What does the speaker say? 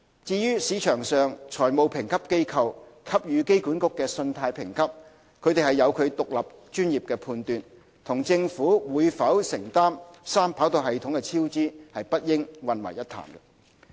至於市場上財務評級機構給予機管局的信貸評級，有其獨立專業判斷，與政府會否承擔三跑道系統的超支不應混為一談。